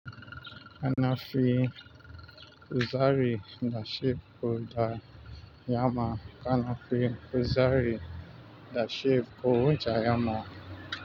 Ana fin kuzari da shi da yamma. Ana fi kuzari da shebur da yamma.